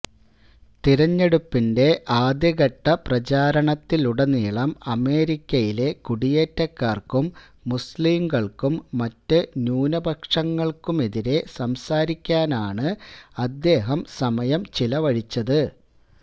തെരഞ്ഞെടുപ്പിന്റെ ആദ്യഘട്ടപ്രചാരണത്തിലുടനീളം അമേരിക്കയിലെ കുടിയേറ്റക്കാര്ക്കും മുസ്ലിംകള്ക്കും മറ്റു ന്യൂനപക്ഷങ്ങള്ക്കുമെതിരേ സംസാരിക്കാനാണ് അദ്ദേഹം സമയം ചെലവഴിച്ചത്